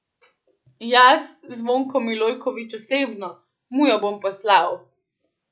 Jaz, Zvonko Milojković osebno, mu jo bom poslal.